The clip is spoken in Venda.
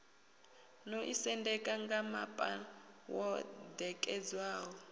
no ḓisendeka ngamapa wo ṋekedzwaho